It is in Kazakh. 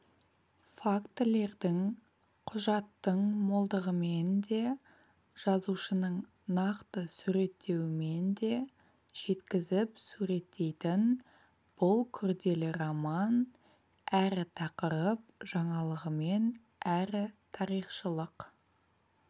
фактілердің құжаттың молдығымен де жазушының нақты суреттеуімен де жеткізіп суреттейтін бұл күрделі роман әрі тақырып жаңалығымен әрі тарихшылық